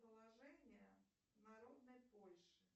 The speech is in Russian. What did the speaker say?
положение народной польши